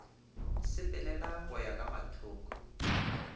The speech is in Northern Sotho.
sepelela go ya ka mathoko